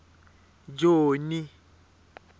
joni